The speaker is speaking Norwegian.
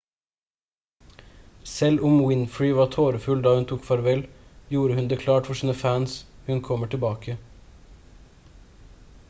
selv om winfrey var tårefull da hun tok farvel gjorde hun det klart for sine fans hun kommer tilbake